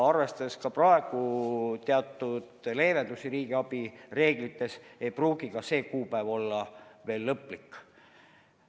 Arvestades aga praeguseid riigiabi reeglite leevendusi, ei pruugi see kuupäev olla veel lõplik.